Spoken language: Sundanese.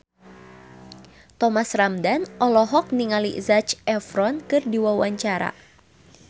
Thomas Ramdhan olohok ningali Zac Efron keur diwawancara